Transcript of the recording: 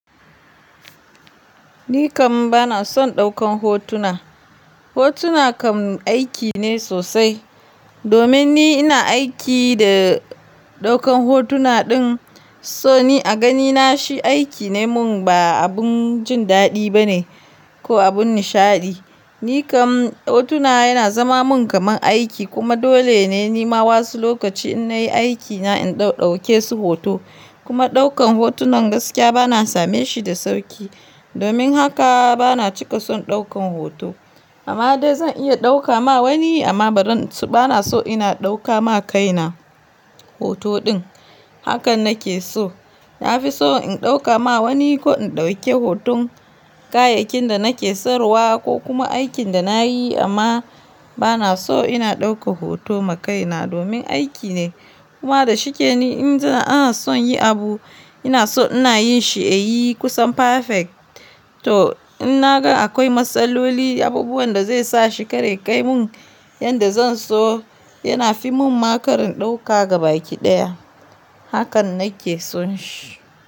Ni kam bana son ɗaukan hotuna. Hotuna kam aiki ne sosai. Domin ni ina aiki da ɗaukan hotuna ɗin, so ni a ganina shi aiki ne mun ba abun jin daɗi bane ko abun nishaɗi. Ni kam hotuna yana zama mun kamar aiki kuma dole ne ni ma wasu lokaci in nayi aikina in ɗauke su hoto. Kuma ɗaukan hotunan gaskiya bana same shi da sauƙi. Domin haka bana cika son ɗaukan hoto. Amma dai zan iya ɗauka ma wani amma bari bana so ina ɗauka ma kaina hoto ɗin. Hakan nake so. Na fi so in ɗauka ma wani ko in ɗauke hoton kayakin da nake saruwa ko kuma aikin da nayi amma bana so ina ɗauka hoto ma kaina domin aiki ne. Kuma da shike ni inda ana son yi abu, ina so ina yin shi a yi kusan perfect. To in naga akwai matsaloli, abubuwan da zai sa shi kare kai mun yadda zan so, yana fi mun ma karin ɗauka gaba ki ɗaya. Hakan nake son shi.